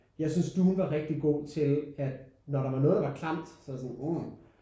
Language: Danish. Jeg synes Dune var rigtig god til at når der var noget der var klamt så var det sådan uh